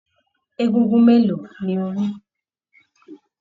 Egúngún mélòó ní o ri?